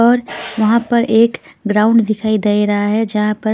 और वहां पर एक ग्राउंड दिखाई दे रहा है जहां पर--